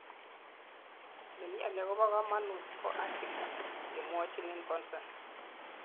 nemioni akobo kamanut ko haki kemwochin en consent